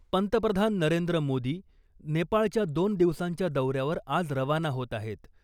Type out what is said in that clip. पंतप्रधान नरेंद्र मोदी नेपाळच्या दोन दिवसांच्या दौऱ्यावर आज रवाना होत आहेत .